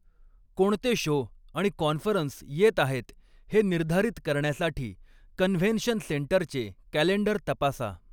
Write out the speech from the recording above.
कोणते शो आणि कॉन्फरन्स येत आहेत हे निर्धारित करण्यासाठी कन्व्हेन्शन सेंटरचे कॅलेंडर तपासा.